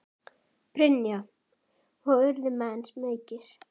Brynja: Og urðu menn smeykir?